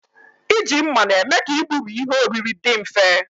Iji mma na-eme ka igburi ihe oriri dị mfe